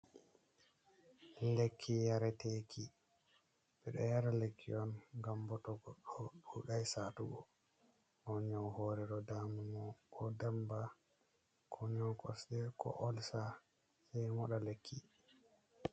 lekki, yare teki.be do yara lekki on gam boto goddo dudai satugo on, nyau hore do dama mo, ko damba, ko nyau kosde, ko olsa sei moda lekki.